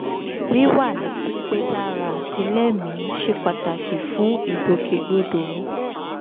wíwà ní pípé lára àti lẹ́mìí ṣe pàtàkì fún ìgbòkègbodò mi